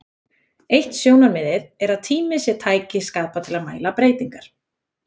Eitt sjónarmiðið er að tími sé tæki skapað til að mæla breytingar.